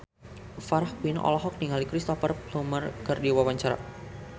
Farah Quinn olohok ningali Cristhoper Plumer keur diwawancara